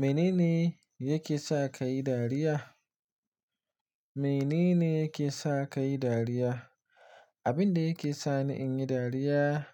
Mene ne yake sa ka yi dariya? Mene ne yake sa ka yi dariya? Abin da yake sani in yi dariya